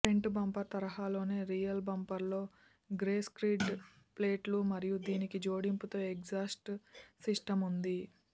front bumper తరహాలోనే rear బంపర్లో grey skid ప్లేట్లు మరియు దీనికి జోడింపుతో ఎగ్జాస్ట్ సిస్టమ్ ఉంది